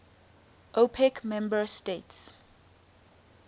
opec member states